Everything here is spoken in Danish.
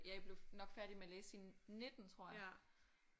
Ja jeg blev nok færdig med at læse i 19 tror jeg